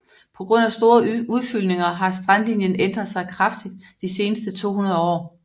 På grund af store udfyldninger har strandlinjen ændret sig kraftigt de seneste 200 år